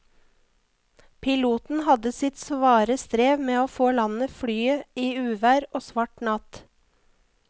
Piloten hadde sitt svare strev med å få landet flyet i uvær og svart natt.